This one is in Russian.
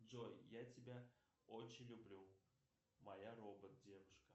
джой я тебя очень люблю моя робот девушка